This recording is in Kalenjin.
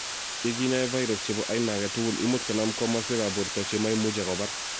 ye kinae virus chebo aina agetugul, imuch konam komaswek ab borto che maimuchi ak kobar.